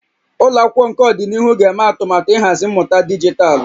Ụlọ akwụkwọ nke ọdịnihu ga-eme atụmatụ ịhazi mmụta dijitalụ